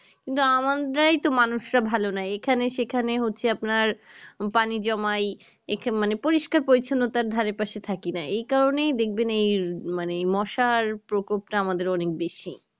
কিন্তু আমরাই তো মানুষরা ভালো নাই এখানে সেখানে হচ্ছে আপনার পানি জমায় একে মানে পরিস্কার পরিছন্নতার ধারে পাশে থাকি নাই এই কারণেই দেখবেন এই মানে মশার প্রকোপটা আমাদের অনেক বেশি